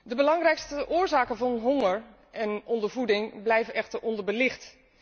De belangrijkste oorzaken van honger en ondervoeding blijven echter onderbelicht.